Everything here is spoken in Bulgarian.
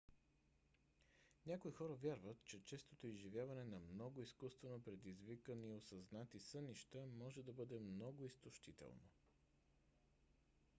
някои хора вярват че честото изживяване на много изкуствено предизвикани осъзнати сънища може да бъде много изтощително